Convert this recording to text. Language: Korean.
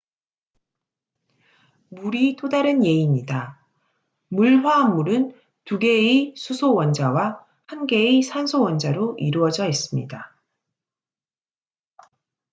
물이 또 다른 예입니다 물 화합물은 2개의 수소 원자와 1개의 산소 원자로 이루어져 있습니다